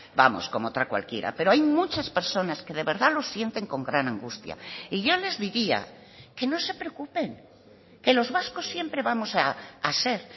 vamos como otra cualquiera pero hay muchas personas que de verdad lo sienten con gran angustia y yo les diría que no se preocupen que los vascos siempre vamos a ser